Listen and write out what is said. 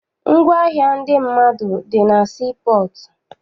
Ngwaahịa ndị mmadụ dị na sii pọọtụ.